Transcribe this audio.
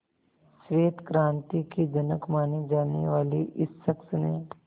श्वेत क्रांति के जनक माने जाने वाले इस शख्स ने